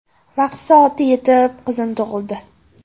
Vaqti soati yetib, qizim tug‘ildi.